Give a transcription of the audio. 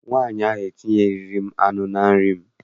Nwaanyị ahụ etinyeghịrị m anụ na nri m.